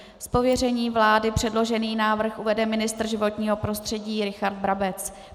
Z pověření vlády předložený návrh uvede ministr životního prostředí Richard Brabec.